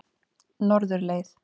Norðurleið